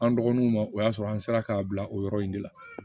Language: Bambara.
An dɔgɔninw ma o y'a sɔrɔ an sera k'a bila o yɔrɔ in de la